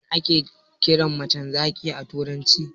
Me ake kiran macen zaki a turanci?